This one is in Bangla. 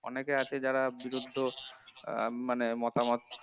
অনেকে আছে যারা বিরুদ্ধ আহ মানে মতামত